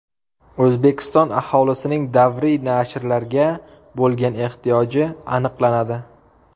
O‘zbekiston aholisining davriy nashrlarga bo‘lgan ehtiyoji aniqlanadi.